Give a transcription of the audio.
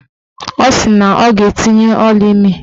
Ọ sị na ọ ga-etinye ọlaimi